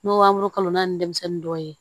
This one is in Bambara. N'o b'a kalo naani denmisɛnnin dɔw ye